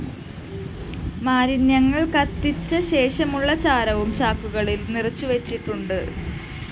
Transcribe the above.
മാലിന്യങ്ങള്‍കത്തിച്ച ശേഷമുള്ള ചാരവും ചാക്കുകളില്‍ നിറച്ചുവച്ചിട്ടുണ്ട്